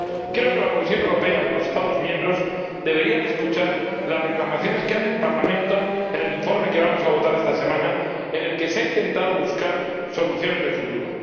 Creo que la Comisión Europea y los Estados miembros deberían escuchar las reclamaciones que hace el Parlamento en el informe que vamos a votar esta semana, en el que se ha intentado buscar soluciones de futuro.